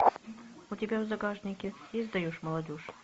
у тебя в загашнике есть даешь молодежь